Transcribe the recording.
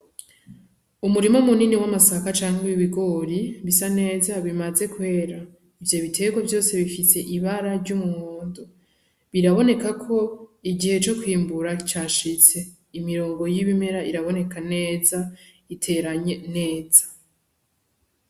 Umurima munini w'amasaka canke w'ibigori bisa neza bimaze kwera, ivyo biterwa vyose bifise ibara ry'umuhondo, biraboneka ko igihe co kwimbura cashitse, imirongo y'ibimera iraboneka neza iteranye neza.